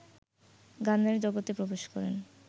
গানের জগতে প্রবেশ করেন